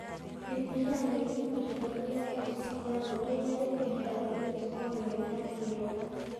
Bibiria nĩ ibuku itheru rĩa Gĩkristiano rĩrĩa ribundithanagia mĩtugo mĩega ya kĩĩroho.